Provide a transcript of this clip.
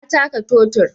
Na taka totir